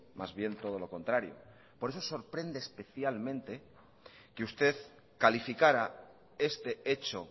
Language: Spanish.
más bien todo lo contrario por eso sorprende especialmente que usted calificara este hecho